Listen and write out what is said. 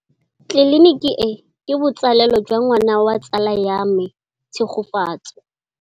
Tleliniki e, ke botsalêlô jwa ngwana wa tsala ya me Tshegofatso.